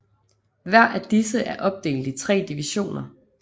Hver af disse er opdelt i tre divisioner